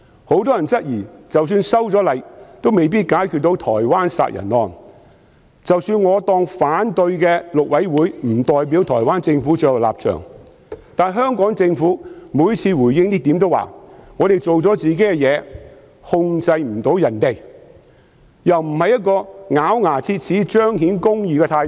很多人質疑即使修例後亦未必能夠解決台灣謀殺案的問題，即使我們假設反對的大陸委員會並不代表台灣政府的最後立場，但香港政府每次回應此事時都說"我們做了自己的事，控制不到別人"，這樣又不見得是咬牙切齒、彰顯公義的態度。